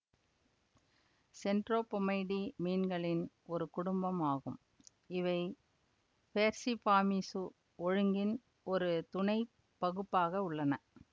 சென்ட்ரோபொமைடீ மீன்களின் ஒரு குடும்பம் ஆகும் இவை பேர்சிஃபார்மீசு ஒழுங்கின் ஒரு துணை பகுப்பாக உள்ளன